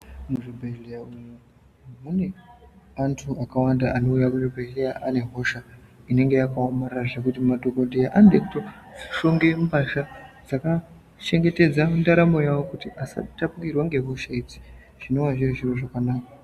Muzvibhedhleya umwo mune antu akawanda anouya kuzvibhedhleya ane hosha inenge yakaomarara zvekuti madhokodheya anode kutoshonge mbasha dzakachengetedza ndaramo yawo kuti asatapukirwa ngehosha idzi zvinova zviri zviro zvakanaka.